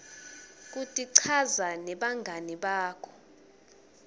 kutichaza nebangani bakho